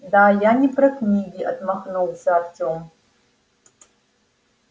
да я не про книги отмахнулся артём